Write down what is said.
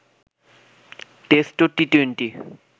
test ও T twenty